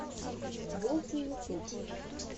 волфи ютюб